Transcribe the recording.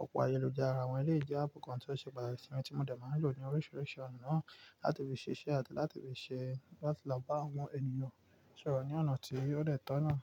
òpó ayélujára. Awọ́n eleyi jẹ́ áàpù kan tí ó ṣe pàtàkì sí mi tí mo dẹ̀ máa ń lò ní oríṣiríṣi ọ̀nà naa láti fi ṣesẹ́ àti láti fi ṣe, láti lọ bá àwọn ènìyàn sọ̀rọ̀ ní ọ̀nà tí ó dẹ́ to naa.